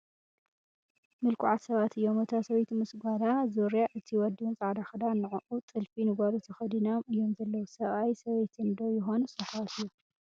ምልኩዓት ሰባት እዮም እታ ሰበይቲ ምስ ጓላ ዙርያ እቲ ወዲ'ውን ፃዕዳ ኽዳን ንዑኡ ጥልፊ ንጓሉ ተኸዲኖም እዮም ዘለዉ ፡ ሰብኣይ ሰበይትን 'ዶ ይኾኑስ ኣሕዋት እዮም ?